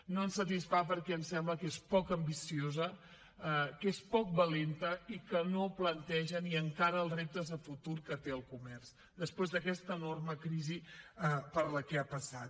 no ens satisfà perquè ens sembla que és poc ambiciosa que és poc valenta i que no planteja ni encara els reptes de futur que té el comerç després d’aquesta enorme crisi per la que ha passat